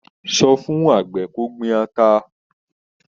Sọ fún àgbẹ̀ kó gbin ata.